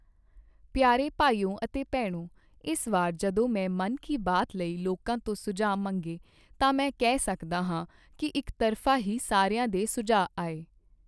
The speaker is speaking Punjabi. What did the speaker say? ਪਿਆਰੇ ਭਾਈਓ ਅਤੇ ਭੈਣੋਂ, ਇਸ ਵਾਰ ਜਦੋਂ ਮੈਂ ਮਨ ਕੀ ਬਾਤ ਲਈ ਲੋਕਾਂ ਤੋਂ ਸੁਝਾਅ ਮੰਗੇ ਤਾਂ ਮੈਂ ਕਹਿ ਸਕਦਾ ਹਾਂ ਕੀ ਇੱਕਤਰਫ਼ਾ ਹੀ ਸਾਰਿਆਂ ਦੇ ਸੁਝਾਅ ਆਏ।